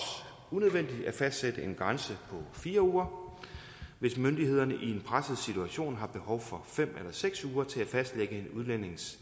unødvendigt at fastsætte en grænse på fire uger hvis myndighederne i en presset situation har behov for fem eller seks uger til at fastlægge en udlændings